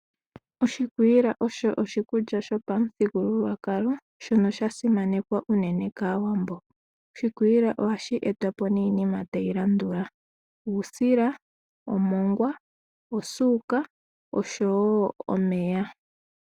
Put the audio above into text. Oshikwiila osho oshikulya shopamuthigululwakalo shono sha simanekwa unene kAawambo. Oshikwiila ohashi etwa po niinima tayi landula: uusila, omongwa, osuuka oshowo omeya.